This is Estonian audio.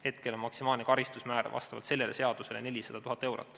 Hetkel on maksimaalne karistusmäär vastavalt sellele seadusele 400 000 eurot.